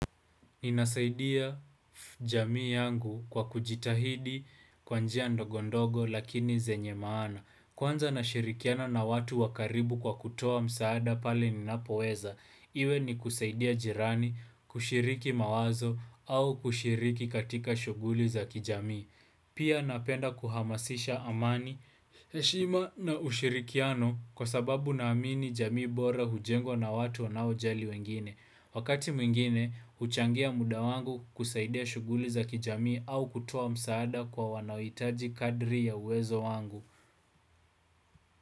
Ninasaidia jamii yangu kwa kujitahidi kwa njia ndogondogo lakini zenye maana. Kwanza nashirikiana na watu wa karibu kwa kutoa msaada pale ninapoweza. Iwe ni kusaidia jirani, kushiriki mawazo au kushiriki katika shughuli za kijamii. Pia napenda kuhamasisha amani, heshima na ushirikiano kwa sababu naamini jamii bora hujengwa na watu wanaojali wengine. Wakati mwingine, huchangia muda wangu kusaidia shughuli za kijamii au kutowa msaada kwa wanaohitaji kadri ya uwezo wangu.